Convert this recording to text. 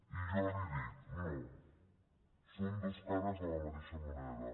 i jo li dic no són dues cares de la mateixa moneda